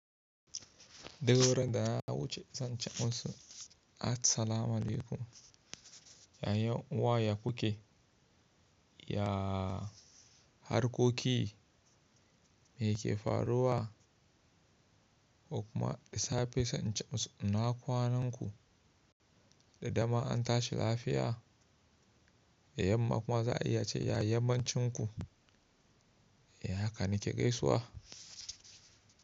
Duk ranan da na wuce zan ce masu, at salamalekum, yanuwa ya ku ke? Ya harkoki me ke faruwa? Kuma da safe zan ce masu inakwanan ku da dama an tashi lafiya? Yamma kuma za a iya ce ya yammancin ku? Da haka nike gaisuwa.